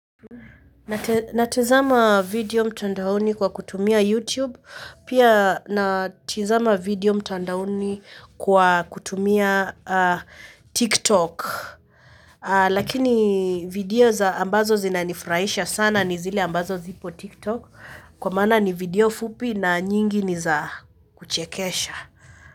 Natazama video mtandaoni kwa kutumia youtube pia natazama video mtandaoni kwa kutumia tiktok lakini video ambazo zinanifurahisha sana ni zile ambazo ziko TikTok kwa maana ni video fupi na nyingi ni za kuchekesha.